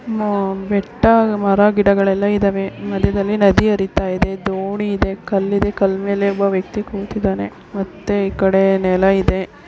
ಬೆಟ್ಟ ಮರ ಗಿಡಗಳೆಲ್ಲ ಇದ್ದಾವೆ ಮದ್ಯದಲ್ಲಿ ನದಿ ಹರಿತಾ ಇದೆ ದೋಣಿ ಇದೆ ಕಲ್ಲ ಇದೆ ಕಲ್ಲ ಮೇಲೆ ಒಬ್ಬ ವ್ಯಕ್ತಿ ಕೊಂತಿದ್ದಾನೆ ಮತ್ತೆ ಈ ಕಡೆ ನೆಲ ಇದೆ.